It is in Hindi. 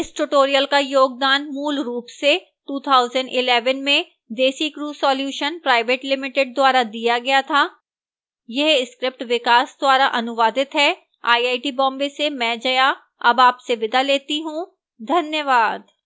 इस tutorial का योगदान मूलरूप से 2011 में desicrew solutions pvt ltd द्वारा दिया गया था यह स्क्रिप्ट विकास द्वारा अनुवादित है आईआईटी बॉम्बे से मैं जया अब आपसे विदा लेती हूं धन्यवाद